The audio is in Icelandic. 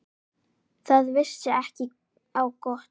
Það vissi ekki á gott.